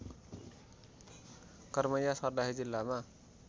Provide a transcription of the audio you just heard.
कर्मैया सर्लाही जिल्लामा